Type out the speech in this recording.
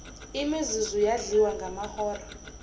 imizuzu yadliwa ngamahora